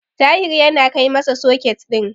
Tahir yana kai masa soket din.